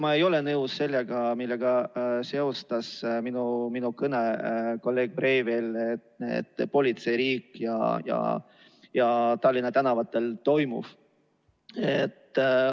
Ma ei ole nõus sellega, millega seostas minu kõne kolleeg Breivel, politseiriigi ja Tallinna tänavatel toimuvaga.